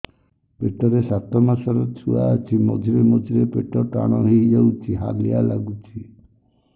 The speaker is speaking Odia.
ପେଟ ରେ ସାତମାସର ଛୁଆ ଅଛି ମଝିରେ ମଝିରେ ପେଟ ଟାଣ ହେଇଯାଉଚି ହାଲିଆ ଲାଗୁଚି